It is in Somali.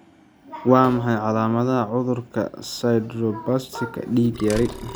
Waa maxay calaamadaha cudurka 'sideroblastika dig yari'?